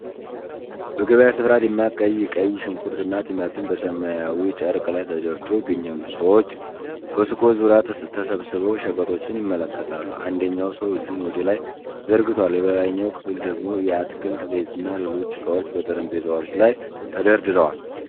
በገበያ ስፍራ፣ ደማቅ ቀይ ቀይ ሽንኩርት እና ቲማቲም በሰማያዊ ጨርቅ ላይ ተደርድረው ይገኛሉ። ሰዎች በሱቆች ዙሪያ ተሰባስበው ሸቀጦችን ይመለከታሉ፣ አንደኛው ሰው እጁን ወደ ላይ ዘርግቷል። በሌላኛው ክፍል ደግሞ የአትክልት ዘይትና ሌሎች እቃዎች በጠረጴዛዎች ላይ ተደርድረዋል።